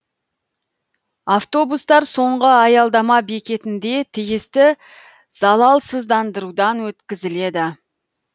автобустар соңғы аяладама бекетінде тиісті залалсыздандырудан өткізіледі